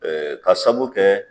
Ɛɛ k'a saabu kɛ